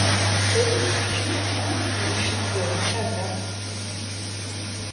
èyí ni usman ń gùn kiri ní tiẹ̀ ní ṣàgámù